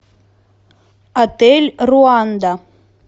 отель руанда